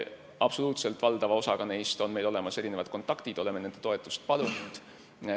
Absoluutselt valdava osaga neist on meil olemas kontakt ja oleme nende toetust palunud.